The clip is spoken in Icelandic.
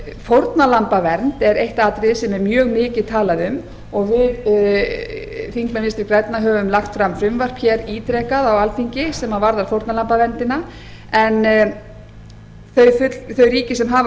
fórnarlambavernd er eitt atriði sem er mjög mikið talað um og við þingmenn vinstri grænna höfum lagt fram frumvarp hér ítrekað á alþingi sem varðar fórnarlambaverndina en þau ríki sem hafa